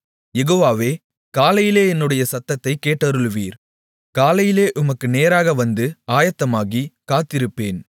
யெகோவாவே காலையிலே என்னுடைய சத்தத்தைக் கேட்டருளுவீர் காலையிலே உமக்கு நேராக வந்து ஆயத்தமாகி காத்திருப்பேன்